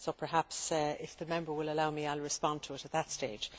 So perhaps, if the Member will allow me, I will respond to it at that stage.